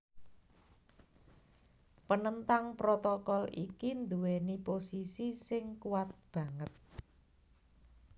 Penentang protokol iki nduwèni posisi sing kuwat banget